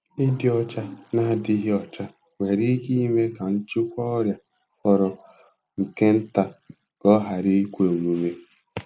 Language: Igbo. Ịdị ọcha na-adịghị ọcha nwere ike ime ka nchịkwa ọrịa fọrọ nke nta ka ọ ghara ikwe omume.